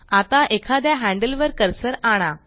आता एखाद्या हैन्ड्ल वर कर्सर आणा